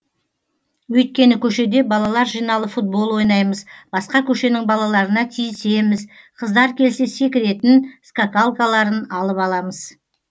өйткені көшеде балалар жиналып футбол ойнаймыз басқа көшенің балаларына тиісеміз қыздар келсе секіретін скакалкаларын алып аламыз